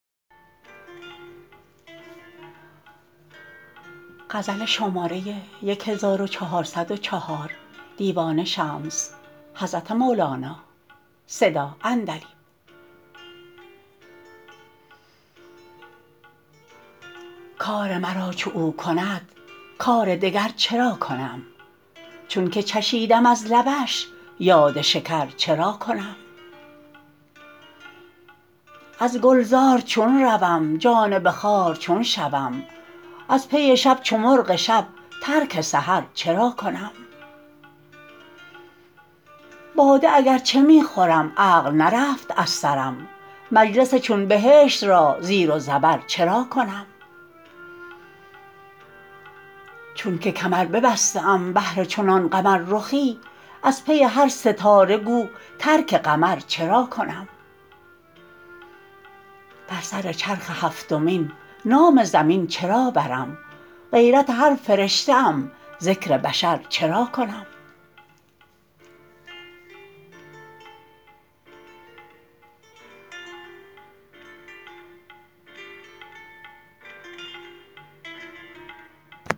کار مرا چو او کند کار دگر چرا کنم چونک چشیدم از لبش یاد شکر چرا کنم از گلزار چون روم جانب خار چون شوم از پی شب چو مرغ شب ترک سحر چرا کنم باده اگر چه می خورم عقل نرفت از سرم مجلس چون بهشت را زیر و زبر چرا کنم چونک کمر ببسته ام بهر چنان قمررخی از پی هر ستاره گو ترک قمر چرا کنم بر سر چرخ هفتمین نام زمین چرا برم غیرت هر فرشته ام ذکر بشر چرا کنم